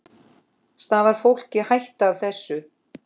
Stafar fólki hætta af þessu?